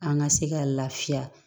An ka se ka lafiya